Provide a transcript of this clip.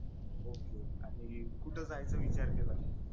okay आाणि कुठ जायचा विचार केला मग